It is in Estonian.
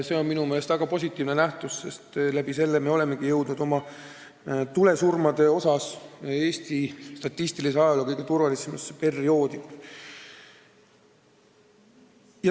See on minu meelest väga positiivne, sest tänu sellele me olemegi jõudnud oma tulesurmade poolest Eesti nn statistilise ajaloo kõige turvalisemasse perioodi.